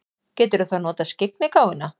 Geturðu þá notað skyggnigáfuna?